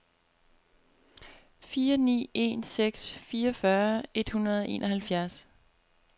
fire ni en seks fireogfyrre et hundrede og enoghalvfjerds